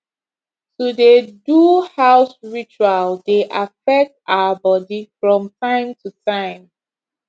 to dey do house ritual dey affect our body from time to time